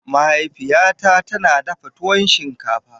Mahaifiyata tana dafa tuwo shinkafa.